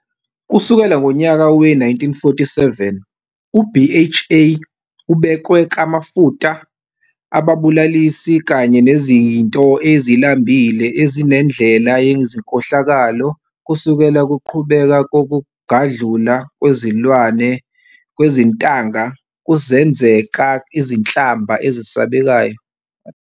Kusukela ngonyaka we-1947, u-BHA ubekwe kumafuta abulalisi kanye nezinto ezilambile ezinendlela yezinkohlakalo kusukela kuqhubeka kokugadlula kwezilwane kwezintanga kuzenzeka izinhlamba ezisabekayo.